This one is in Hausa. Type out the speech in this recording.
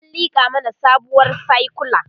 an liƙa mana sabuwar sakula